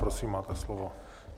Prosím, máte slovo.